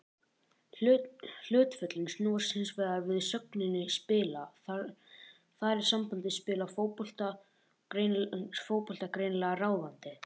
Hlutföllin snúast hins vegar við með sögninni spila, þar er sambandið spila fótbolta greinilega ráðandi.